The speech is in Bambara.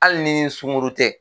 Hali n'i sunkuru tɛ.